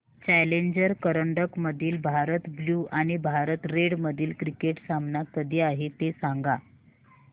challenger करंडक मधील Bharat blue आणि भारत रेड मधील क्रिकेट सामना कधी आहे ते सांगा